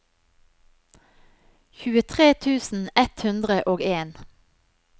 tjuetre tusen ett hundre og en